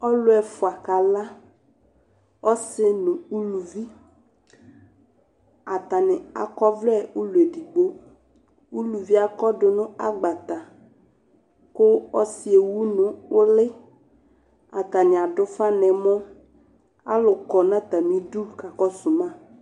Ɔlʋ ɛfua kaka, ɔsi nʋ uluvi, atani ak'ɔvlɛ ʋlɔ edigbo Uluvi yɛ akɔdʋ n'agbata kʋ ɔsi y'ewu n'ʋli Atani adʋ ufa n'ɛmɔ Alʋ kɔ n'atamidu k'akɔsu ma